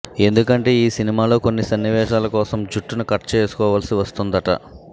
ఎందుకంటే ఈ సినిమాలో కొన్ని సన్నివేశాల కోసం జుట్టును కట్ చేసుకోవాల్సి వస్తుందట